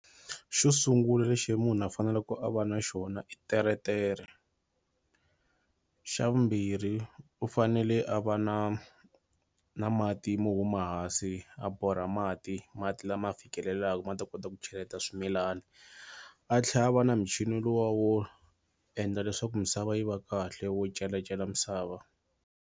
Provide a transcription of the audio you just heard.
Xo sungula lexi munhu a faneleku a va na xona i teretere xa vumbirhi u fanele a va na na mati mo huma hansi a borha mati mati lama fikelelaku ma ta kota ku cheleta swimilana a tlhela a va na michini lowa wo endla leswaku misava yi va kahle wo celacela misava.